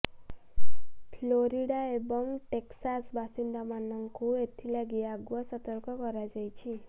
Florida ଏବଂ Texas ବାସିନ୍ଦାମାନଙ୍କୁ ଏଥିଲାଗି ଆଗୁଆ ସତର୍କ କରାଯାଇଛି